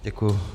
Děkuji.